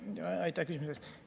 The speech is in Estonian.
Aitäh küsimuse eest!